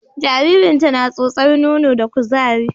Jaririnta na tsotsar nono da kuzari